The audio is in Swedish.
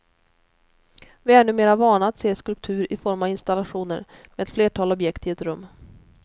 Vi är numera vana att se skulptur i form av installationer med ett flertal objekt i ett rum.